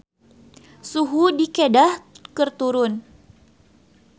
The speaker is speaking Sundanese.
Suhu di Kedah keur turun